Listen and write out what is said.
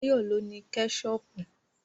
Báyọ̀ ló ní Kẹ́ṣọpù